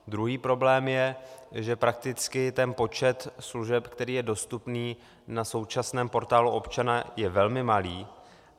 Druhý problém je, že prakticky ten počet služeb, který je dostupný na současném Portálu občana, je velmi malý.